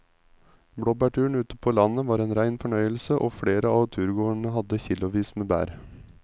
Blåbærturen ute på landet var en rein fornøyelse og flere av turgåerene hadde kilosvis med bær.